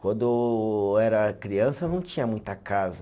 Quando era criança, não tinha muita casa.